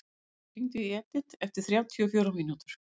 Fylkir, hringdu í Edith eftir þrjátíu og fjórar mínútur.